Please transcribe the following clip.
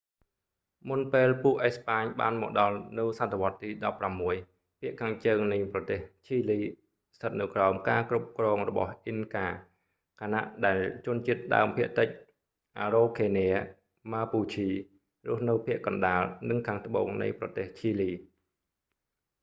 មុនពេលពួកអេស្ប៉ាញបានមកដល់នៅសតវត្សរ៍ទី 16 ភាគខាងជើងនៃប្រទេសឈីលីស្ថិតនៅក្រោមការគ្រប់គ្រងរបស់អ៊ីនកា ខណៈដែលជនជាតិដើមភាគតិច អារ៉ូខេនា ម៉ាពូឈី រស់នៅភាគកណ្តាល និងខាងត្បូងនៃប្រទេសឈីលី